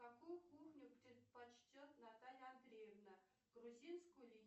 какую кухню предпочтет наталья андреевна грузинскую или